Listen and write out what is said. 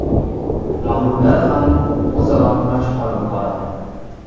Mag‘lublar ham o‘zaro kurash olib boradi.